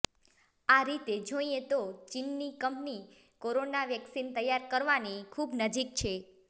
આ રીતે જોઈએ તો ચીની કંપની કોરોના વેક્સિન તૈયાર કરવાની ખુબ નજીક છે